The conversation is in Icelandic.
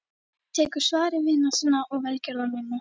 Tekur svari vina sinna og velgjörðamanna.